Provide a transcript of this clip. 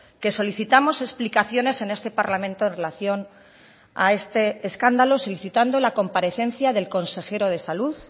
que solicitamos explicaciones en este parlamento en relación a este escándalo solicitando la comparecencia del consejero de salud